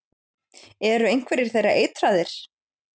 Eru einhverjir þeirra eitraðir?